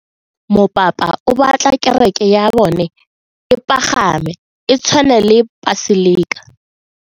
Mopapa o batla kereke ya bone e pagame, e tshwane le paselika.